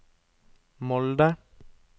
Molde